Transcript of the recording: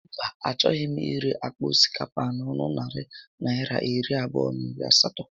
Mba, a choghị m ire àkpà osikapa a n'ọnụ narị Naịra iri abụọ na iri asatọ